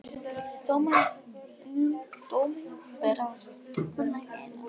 Dóminum ber að fullnægja innan